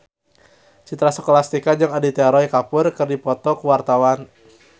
Citra Scholastika jeung Aditya Roy Kapoor keur dipoto ku wartawan